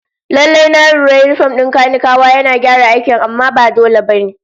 Lallai, na lura yinifom din kanikawa yana gyara aikin amma ba dole ba ne